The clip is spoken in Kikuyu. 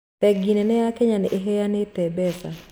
Bengi nene ya Kenya ĩheanaga mbeca